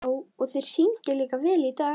Já, og þeir syngja líka vel í dag.